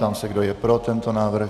Ptám se, kdo je pro tento návrh.